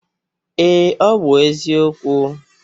Ee, ọ bụ eziokwu